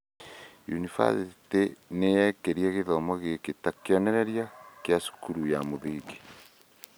Yunibathĩtĩ ĩyo nĩ yaakire gĩthomo gĩkĩ ta kĩonereria kĩa cukuru ya mũthingi. “